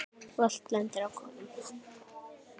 Og allt lendir á konum.